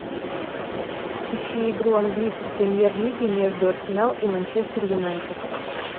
ищи игру английской премьер лиги между арсенал и манчестер юнайтед